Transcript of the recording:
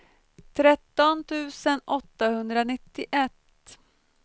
tretton tusen åttahundranittioett